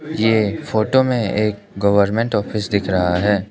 ए photo में एक government office दिख रहा है।